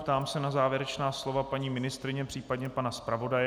Ptám se na závěrečná slova paní ministryně, případně pana zpravodaje.